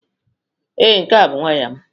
Ee, nke a bụ waya m.